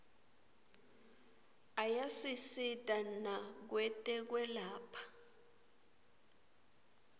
ayasisita nakwetekwelapha